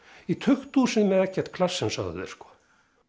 í tugthúsið með Eggert Claessen sögðu þeir sko